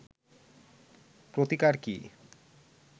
প্রতিকার কি